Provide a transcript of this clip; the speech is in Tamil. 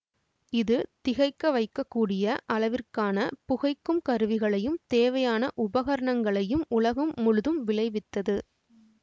இது திகைக்க வைக்க கூடிய அளவிற்கான புகைக்கும் கருவிகளையும் தேவையான உபகரணங்களையும் உலகம் முழுதும் விளைவித்தது